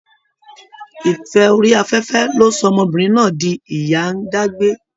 Ìfẹ́ orí afẹ́fẹ́ ló sọ ọmọbìnrin náà di ìyá-ń-dágbé